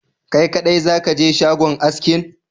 Kai kaɗai zakaje shagon askin?